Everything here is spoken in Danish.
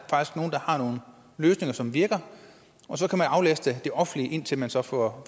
har nogle løsninger som virker og så kan man aflaste det offentlige indtil man så får